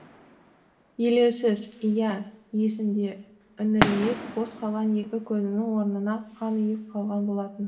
елеусіз иә есімде үңірейіп бос қалған екі көзінің орнына қан ұйып қалған болатын